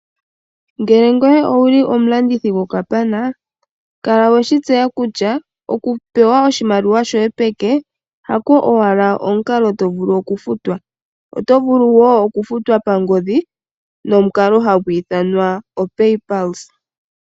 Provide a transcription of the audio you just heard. Ngele ngoye owuli omulandithi go kapana kala weshi tseya kutya oku pewa oshimaliwa shoye peke hako owala omukalo tovulu okufutwa , oto vulu wo okufutwa pangodhi no mukalo hagu ithanwa o Pay Pulse .